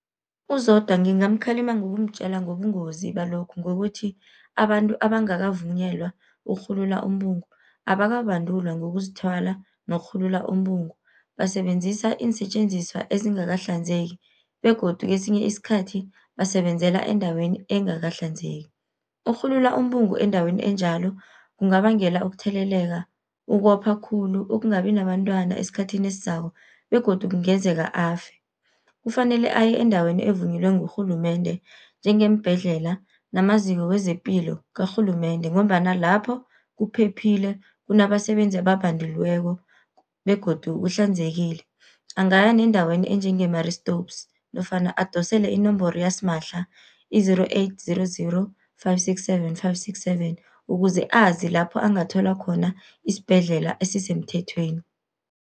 UZodwa ngingamkhalima ngokumtjela ngobungozi balokhu, ngokuthi abantu abangakavunyelwa ukurhulula umbungu abakabandulwa ngokuzithwala nokurhulula umbungu, basebenzisa iinsetjenziswa ezingakahlanzeki begodu kesinye isikhathi basebenzela endaweni engakahlanzeki. Ukurhulula umbungu endaweni enjalo kungabangela ukutheleleka, ukopha khulu, ukungabi nabantwana esikhathini esizako begodu kungenzeka afe. Kufanele aye endaweni evunyelwe ngurhulumende, njengeembhedlela namaziko wezepilo karhulumende, ngombana lapho kuphephile kunabasebenzi ababanduliweko begodu kuhlanzekile. Angaya nendaweni enjenge Marie Stopes nofana adosele inomboro yasimahla i-zero-eight-zero-zero-five-six-seven-five-six-seven, ukuze azi lapho angathola khona isibhedlela esisemthethweni.